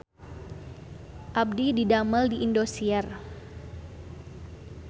Abdi didamel di Indosiar